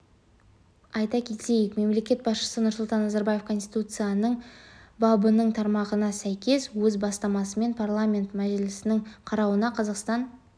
айта кетейік мемлекет басшысы нұрсұлтан назарбаев конституцияның бабының тармағына сәйкес өз бастамасымен парламенті мәжілісінің қарауына қазақстан